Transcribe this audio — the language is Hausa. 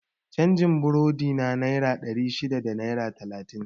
Canjin burodina naira ɗari shida da naira talatin